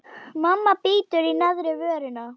Mamma bítur í neðri vörina.